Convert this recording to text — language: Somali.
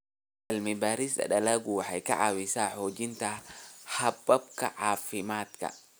Cilmi-baarista dalagga waxay ka caawisaa xoojinta hababka caafimaadka.